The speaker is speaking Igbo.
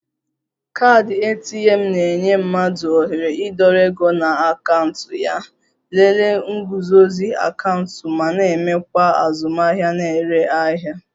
Kaadị ATM na-enye mmadụ ohere ịdọrọ ego na akaụntụ ya, lelee nguzozi akaụntụ ma na-emekwa azụmahịa na-ere ahịa